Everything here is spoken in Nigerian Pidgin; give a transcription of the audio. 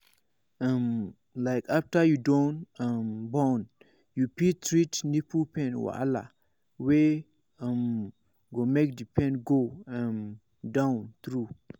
um like after you don um born you fit treat nipple pain wahala wey um go make the pain go um down true